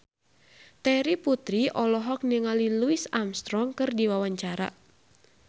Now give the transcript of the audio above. Terry Putri olohok ningali Louis Armstrong keur diwawancara